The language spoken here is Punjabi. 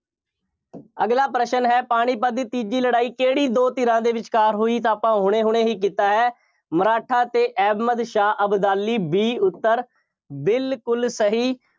ਅਗਲਾ ਪ੍ਰਸ਼ਨ ਹੈ। ਪਾਣੀਪਤ ਦੀ ਤੀਜੀ ਲੜਾਈ ਕਿਹੜੀ ਦੋ ਧਿਰਾਂ ਦੇ ਵਿਚਕਾਰ ਹੋਈ ਤਾਂ ਆਪਾਂ ਹੁਣੇ ਹੁਣੇ ਹੀ ਕੀਤਾ ਹੈ। ਮਰਾਠਾ ਅਤੇ ਅਹਿਮਦ ਸ਼ਾਹ ਅਬਦਾਲੀ B ਉੱਤਰ ਬਿਲਕੁੱਲ ਸਹੀ।